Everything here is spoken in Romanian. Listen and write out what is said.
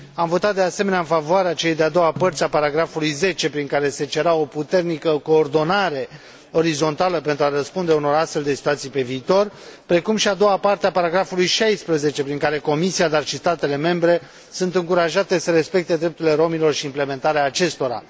Am votat, de asemenea, în favoarea celei de a doua părți a paragrafului 10, prin care se cerea o puternică coordonare orizontală pentru a răspunde unor astfel de situații pe viitor, precum și a doua parte a paragrafului 16 prin care Comisia, dar și statele membre, sunt încurajate să respecte drepturile romilor și implementarea acestora.